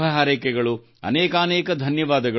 ಅನೇಕಾನೇಕ ಧನ್ಯವಾದ ನಮಸ್ಕಾರ